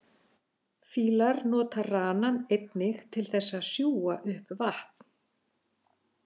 Fílar nota ranann einnig til þess að sjúga upp vatn.